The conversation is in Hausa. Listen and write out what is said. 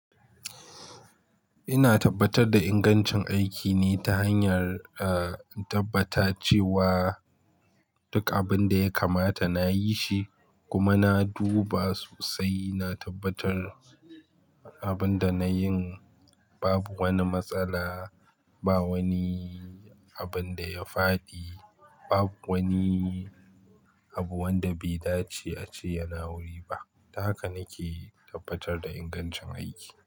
Ina tabbatar da ingancin aikine ta hanyar, ah, tabbata cewa duk abin da ya kamata na yi shi kuma na duba sosai. Na tabbatar abin da na yin babu wani matsala, ba wani abin da ya faɗi, bab wani abu wanda bai dace a ce yana wuri ba. Haka nake tabbatar da ingancin aiki.